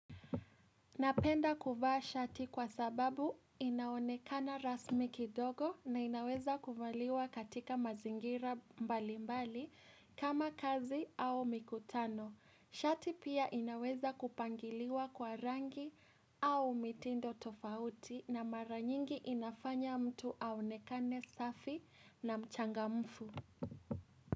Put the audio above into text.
Napenda kuvaa shati kwa sababu inaonekana rasmi kidogo na inaweza kuvaliwa katika mazingira mbali mbali kama kazi au mikutano. Shati pia inaweza kupangiliwa kwa rangi au mitindo tofauti na mara nyingi inafanya mtu aonekane safi na mchangamfu.